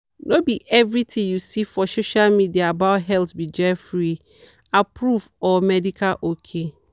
no be every thing you see for social media about health be jeffery-approved or medical ok.